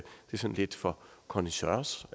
sådan lidt for connaisseurs